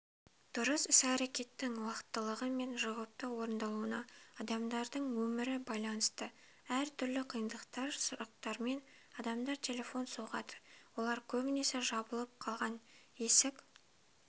дұрыс іс-әрекеттердің уақтылы мен жауапты орындалуына адамдардың өмірі байланысты әр түрлі қиындықтар сұрақтармен адамдар телефон соғады олар көбінесе жабылып қалған есік